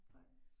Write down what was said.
Nej